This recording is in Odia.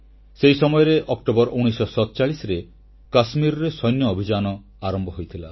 ସେହି ସମୟରେ ଅକ୍ଟୋବର 1947ରେ କାଶ୍ମୀରରେ ସୈନ୍ୟ ଅଭିଯାନ ଆରମ୍ଭ ହୋଇଥିଲା